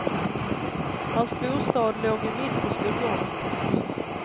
Hans bostad låg ju mitt på skolgården. punkt